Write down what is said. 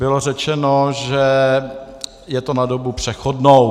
Bylo řečeno, že je to na dobu přechodnou.